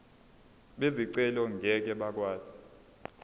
bezicelo ngeke bakwazi